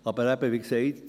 Aber eben, wie gesagt: